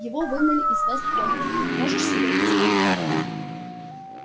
его выгнали из вест-пойнта можешь себе представить